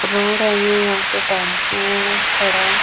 road है ये यहां पे टेंपू खड़ा--